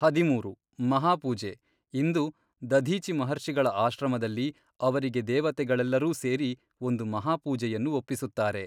ಹದಿಮೂರು, ಮಹಾಪೂಜೆ ಇಂದು ದಧೀಚಿ ಮಹರ್ಷಿಗಳ ಆಶ್ರಮದಲ್ಲಿ ಅವರಿಗೆ ದೆವತೆಗಳೆಲ್ಲರೂ ಸೇರಿ ಒಂದು ಮಹಾಪೂಜೆಯನ್ನು ಒಪ್ಪಿಸುತ್ತಾರೆ.